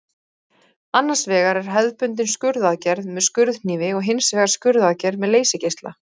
Annars vegar er hefðbundin skurðaðgerð með skurðhnífi og hins vegar skurðaðgerð með leysigeisla.